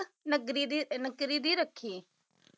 ਨਗਰੀ ਦੀ ਨਗਰੀ ਦੀ ਰੱਖੀ